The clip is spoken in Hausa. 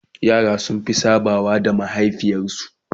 yara sun Fi sabawa da mahaifiyar su